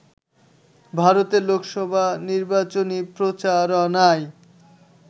ভারতে লোকসভা নির্বাচনী প্রচারণায়